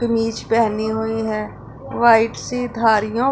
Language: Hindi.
कमीज़ पेहनी हुई हैं वाइट सी धारियों--